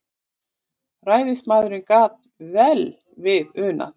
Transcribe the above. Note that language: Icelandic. Ræðismaðurinn gat vel við unað.